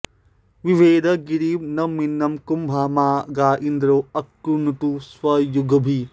बि॒भेद॑ गि॒रिं नव॒मिन्न कु॒म्भमा गा इन्द्रो॑ अकृणुत स्व॒युग्भिः॑